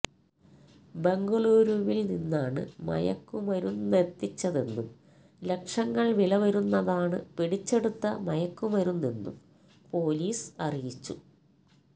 ബംഗളൂരുവില് നിന്നാണ് മയക്കുമരുന്നെത്തിച്ചതെന്നും ലക്ഷങ്ങള് വില വരുന്നതാണ് പിടിച്ചെടുത്ത മയക്കുമരുന്നെന്നും പോലീസ് അറിയിച്ചു